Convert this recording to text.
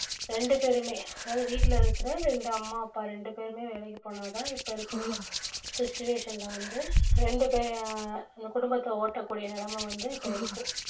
ரெண்டு பேருமே அதாவது வீட்ல இருக்கிற ரெண்டு அம்மா அப்பா ரெண்டு பேருமே வேலைக்கு போனா தான் இப்ப இருக்கிற situation ல வந்து ரெண்டு பே~ அஹ் அந்த குடும்பத்த ஓட்டக்கூடிய நிலைம வந்து இப்ப இருக்கு